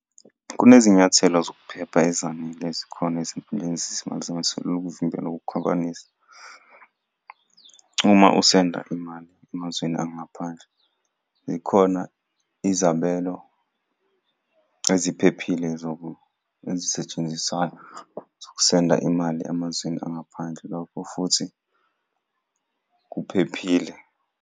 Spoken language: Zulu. Kunezinyathelo zokuphepha ezanele ezikhona ezinkundleni zezimali zamaselula ukuvimbela ukukhwabanisa. Uma usenda imali emazweni angaphandle, zikhona izabelo eziphephile ezisetshenziswayo zokusenda imali emazweni angaphandle, lokho futhi kuphephile.